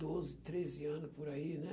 Doze, treze anos por aí, né?